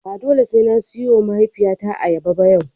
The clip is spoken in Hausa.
Ba dole sai na siyowa mahaifiyata ayyaba ba yau.